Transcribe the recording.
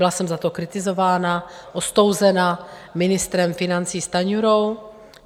Byla jsem za to kritizována, ostouzena ministrem financí Stanjurou.